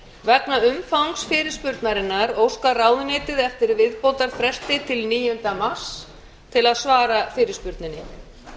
vegna umfangs fyrirspurnarinnar óskar ráðuneytið eftir viðbótarfresti til níunda mars til að svara fyrirspurninni